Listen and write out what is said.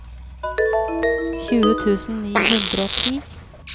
tjue tusen ni hundre og ti